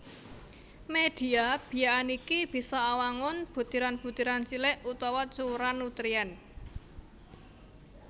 Medhia biakan iki bisa awangun butiran butiran cilik utawa cuwèran nutrien